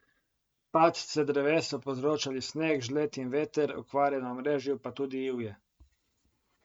Padce dreves so povzročali sneg, žled in veter, okvare na omrežju pa tudi ivje.